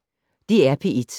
DR P1